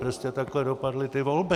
Prostě takhle dopadly ty volby.